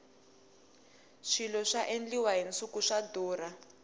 swilo swa endliwa hi nsuku swa durha